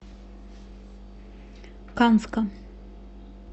канска